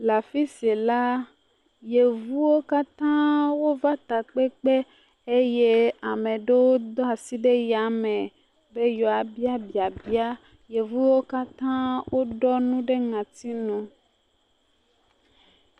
Le afi si la yevuwo katã wova takpekpe eye ame ɖewo do asi ɖe yame be yewoabia biabia. Yevuwo katã ɖɔ nu ɖe ŋɔtinu.